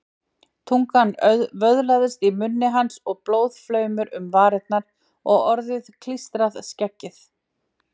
Tungan vöðlaðist í munni hans og blóðflaumur um varirnar og orðið klístrað skeggið.